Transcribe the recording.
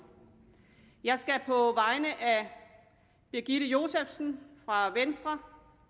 jeg skal på vegne af birgitte josefsen fra venstre